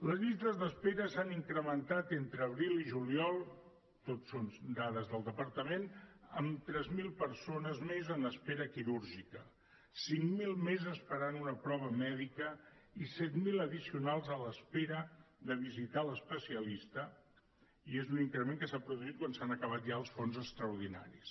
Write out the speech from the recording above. les llistes d’espera s’han incrementat entre abril i juliol tot són dades del departament en tres mil persones més en espera quirúrgica cinc mil més esperant una prova mèdica i set mil addicionals en espera de visitar l’especialista i és un increment que s’ha produït quan s’han acabat ja els fons extraordinaris